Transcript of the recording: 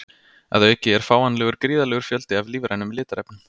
Að auki er fáanlegur gríðarlegur fjöldi af lífrænum litarefnum.